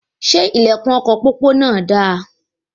Ṣe ilẹkùn ọkọ pópó náà dà?